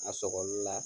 A sɔgɔli la